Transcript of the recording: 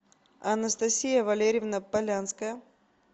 анастасия валерьевна полянская